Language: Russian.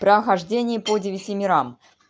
прохождение по девяти мирам